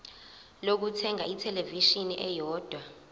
lokuthenga ithelevishini eyodwa